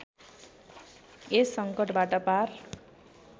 यस सङ्कटबाट पार